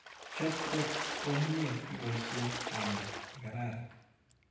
Chop kot komnyie iboishe ng'enda ne kararan.